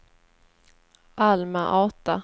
Alma-Ata